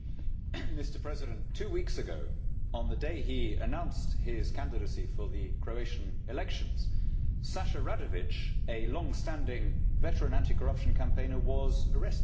Mr President, two weeks ago on the day he announced his candidacy for the Croatian elections, Aleksandar Saša Radović, a longstanding veteran anti corruption campaigner was arrested.